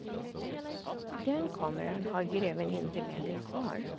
Den kameran har greven inte längre kvar.